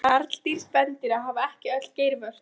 Karldýr spendýra hafa ekki öll geirvörtur.